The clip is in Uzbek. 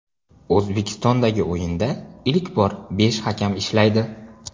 O‘zbekistondagi o‘yinda ilk bor besh hakam ishlaydi.